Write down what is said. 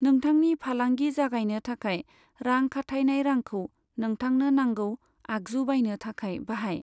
नोंथांनि फालांगि जागायनो थाखाय रां खाथायनाय रांखौ नोंथांनो नांगौ आगजु बायनो थाखाय बाहाय।